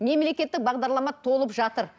мемлекеттік бағдарлама толып жатыр